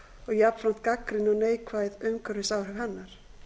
og jafnframt gagnrýni á neikvæð umhverfisáhrif hennar